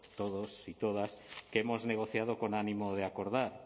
todos y todas hemos negociado con ánimo de acordar